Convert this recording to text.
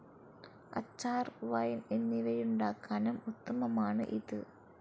അച്ചാർ, വൈൻ എന്നിവയുണ്ടാക്കാനും ഉത്തമമാണ് ഇത്.